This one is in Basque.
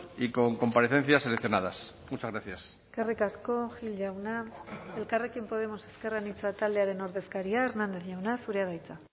y con comparecencias seleccionadas muchas gracias eskerrik asko gil jauna elkarrekin podemos ezker anitza taldearen ordezkaria hernández jauna zurea da hitza